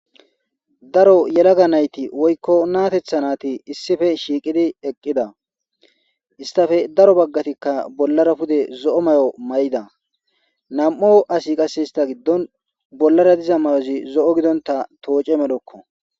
Daro yelaga naythi woykko nathetha nathi issippe shiqidi eqida hesthape daro bagathikka bollara duge zo'o maayo mayida nan'u asathasti qase istha gidon bollara diza mayothi zo'o gidonthan tooce millakko.